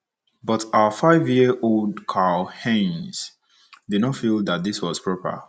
But our five - year - old Karl - Heinz did not not feel that this was proper.